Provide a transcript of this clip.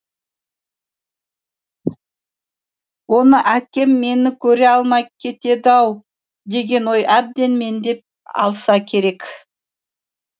оны әкем мені көре алмай кетеді ау деген ой әбден меңдеп алса керек